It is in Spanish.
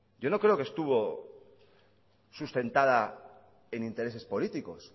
yo no creo que estuvo sustentada en intereses políticos